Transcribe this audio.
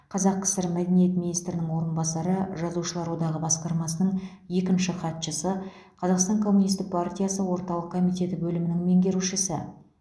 қазақ кср мәдениет министрінің орынбасары жазушылар одағы басқармасының екінші хатшысы қазақстан коммунистік партиясы орталық комитеті бөлімінің меңгерушісі